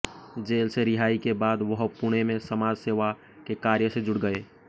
jail से रिहाई के बाद वह पुणे में समाज सेवा के कार्य से जुड़ गए